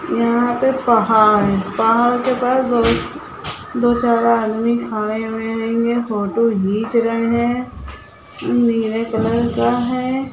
यहाँ पे पहाड़ है पहाड़ के बाद बहुत दो चार आदमी खड़े हुए हैगें फोटो खींच रहे है नीले कलर का है।